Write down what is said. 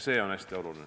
See on hästi oluline.